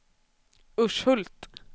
Urshult